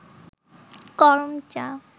করমচা